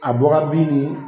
A bɔra bin ye